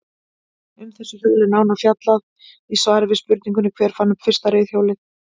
Um þessi hjól er nánar fjallaði í svari við spurningunni Hver fann upp fyrsta reiðhjólið?